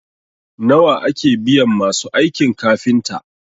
nawa ake biyan masu aikin kafinta?